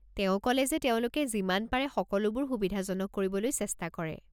তেওঁ ক'লে যে তেওঁলোকে যিমান পাৰে সকলোবোৰ সুবিধাজনক কৰিবলৈ চেষ্টা কৰে।